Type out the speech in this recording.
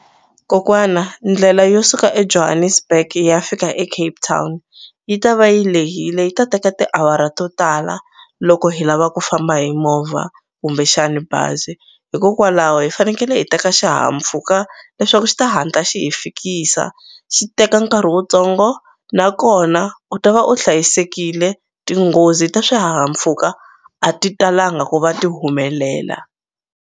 Kokwana ndlela yo suka eJohannesburg yi ya fika eCape Town yi ta va yi lehile yi ta teka tiawara to tala loko hi lava ku famba hi movha kumbexani bazi hikokwalaho hi fanekele hi teka xihahampfhuka leswaku xi ta hatla xi hi fikisa xi teka nkarhi wutsongo nakona u ta va u hlayisekile tinghozi ta swihahampfhuka a ti talanga ku va ti humelela.